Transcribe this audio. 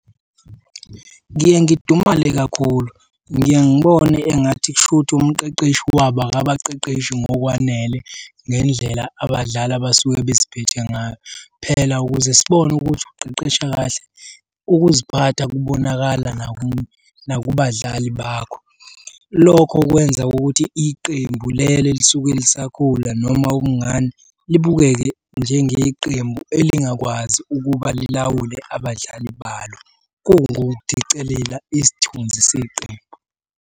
Ngiye ngidumale kakhulu, ngiye ngibone engathi kushuthi umqeqeshi wabo akabaqeqeshi ngokwanele ngendlela abadlali abasuke beziphethe ngayo. Phela ukuze sibone ukuthi uqeqesha kahle, ukuziphatha kubonakala nakubadlali bakho. Lokho kwenza ukuthi iqembu lelo elisuke lisakhula noma , libukeke njengeqembu elingakwazi ukuba lilawule abadlali balo, kungukudicelela isithunzi seqembu.